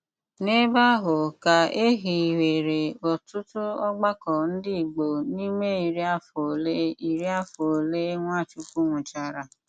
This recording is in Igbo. N’ebe áhụ́ kà é híwéré ótụ́tù ọ́gbàkọ́ ndí Ìgbò n’ímè írí àfọ́ ólé írí àfọ́ ólé Nwáchúkwú nwùchárà.